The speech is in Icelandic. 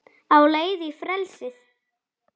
Á leið í frelsið